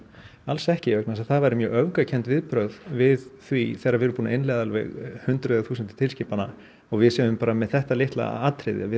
alls ekki vegna þess að það væru mjög öfgakennd viðbrögð við því þegar við erum búin að innleiða alveg hundruð þúsunda tilskipana og við segjum bara með þetta litla atriði